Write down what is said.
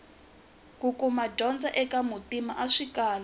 kukuma dyondzo eka muntima a swi kala